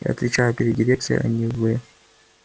я отвечаю перед дирекцией а не вы